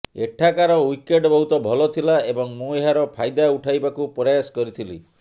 ଏଠାକାର ୱିକେଟ୍ ବହୁତ ଭଲ ଥିଲା ଏବଂ ମୁଁ ଏହାର ଫାଇଦା ଉଠାଇବାକୁ ପ୍ରୟାସ କରିଥିଲି